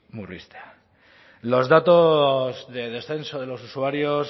murriztea los datos de descenso de los usuarios